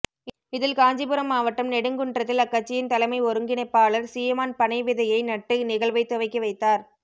இதில் காஞ்சிபுரம் மாவட்டம் நெடுங்குன்றத்தில் அக்கட்சியின் தலைமை ஒருங்கிணைப்பாளர் சீமான் பனைவிதையை நட்டு நிகழ்வைத் துவக்கி வைத்தார்